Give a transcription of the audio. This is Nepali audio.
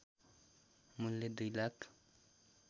मूल्य २ लाख